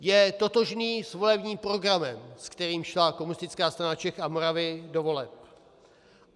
Je totožný s volebním programem, s kterým šla Komunistická strana Čech a Moravy do voleb.